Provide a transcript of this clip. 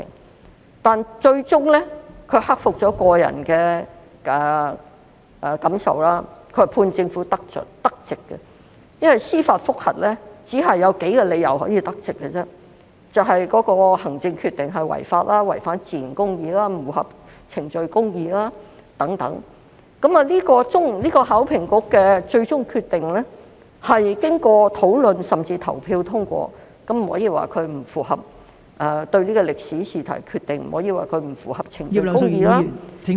可是，最終他克服了個人感受，判政府得直，因為司法覆核只有數個理由可以得直，就是當行政決定違法、違反自然公義及不符合程序公義等，而考評局的最終決定是經過討論甚至投票通過，因此不可以說對歷史試題的決定不符合程序公義......